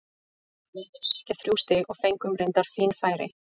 Við vildum sækja þrjú stig og fengum reyndar fín færi.